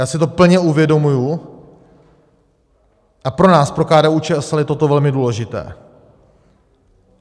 Já si to plně uvědomuji a pro nás, pro KDU-ČSL, je toto velmi důležité.